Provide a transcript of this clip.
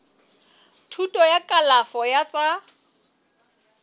thuto ya kalafo ya tsa